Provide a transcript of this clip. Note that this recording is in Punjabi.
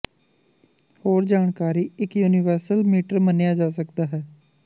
ਹੋਰ ਜਾਣਕਾਰੀ ਇੱਕ ਯੂਨੀਵਰਸਲ ਮੀਟਰ ਮੰਨਿਆ ਜਾ ਸਕਦਾ ਹੈ